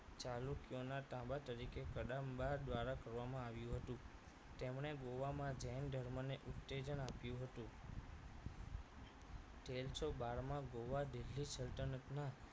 ચાલુક્યના તાંબા તરીકે કદંબા દ્વારા કરવામાં આવ્યું હતું તેમણે ગોવામાં જૈન ધર્મ ને ઉત્તેજન આપ્યું હતું તેરસો બાર માં ગોવા દિલ્લી સલ્તનત ના